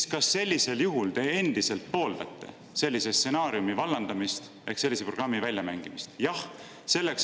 –, kas sellisel juhul te endiselt pooldate sellise stsenaariumi vallandamist ehk sellise programmi väljamängimist?